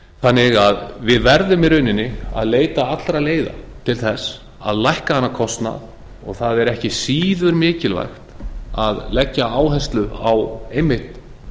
þannig að við verðum í rauninni að leita allra leiða til að lækka þennan kostnað og það er ekki síður mikilvægt að leggja áherslu á einmitt